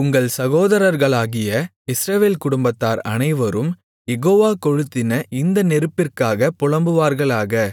உங்கள் சகோதரர்களாகிய இஸ்ரவேல் குடும்பத்தார் அனைவரும் யெகோவா கொளுத்தின இந்த நெருப்பிற்காகப் புலம்புவார்களாக